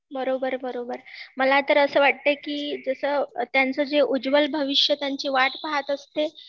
बरोबर बरोबर